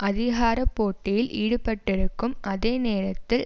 அதிகார போட்டியில் ஈடுபட்டிருக்கும் அதே நேரத்தில்